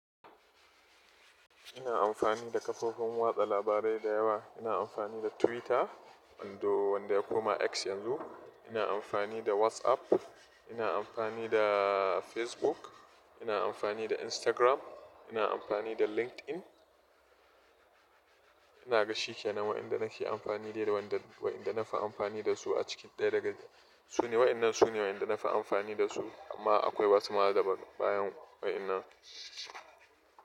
Ina amfani da kafofin watsa labarai da yawa. Ina amfani da Twitter wando wanda ya koma X yanzu, ina amfani da WhatsApp, ina amfani da Facebook, ina amfani da Instagram, ina amfani da LinkedIn. Ina ga shikenan waɗanda nake amfani dai da waɗanda na fi amfani da su a cikin dai daga su ne waɗannan su ne waɗanda na fi amfani da su amma akwai wasu ma daban bayan waɗannan.